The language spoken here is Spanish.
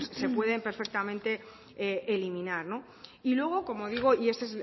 pues se pueden perfectamente eliminar y luego como digo y ese